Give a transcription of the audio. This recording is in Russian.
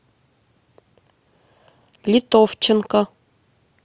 литовченко